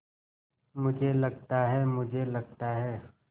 मुझे लगता है मुझे लगता है